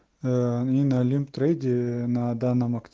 налим трагедия на данном